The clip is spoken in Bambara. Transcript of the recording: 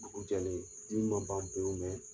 Dugu jɛlen, dimi ma ban pewu